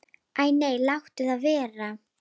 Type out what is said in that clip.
Æ nei, láttu það vera.